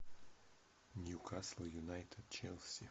ньюкасл юнайтед челси